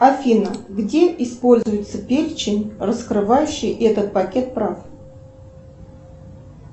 афина где используется перечень раскрывающий этот пакет прав